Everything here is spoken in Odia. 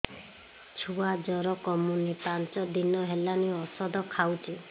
ଛୁଆ ଜର କମୁନି ପାଞ୍ଚ ଦିନ ହେଲାଣି ଔଷଧ ଖାଉଛି